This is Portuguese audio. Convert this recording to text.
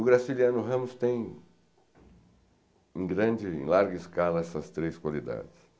O Graciliano Ramos tem, em grande larga escala, essas três qualidades.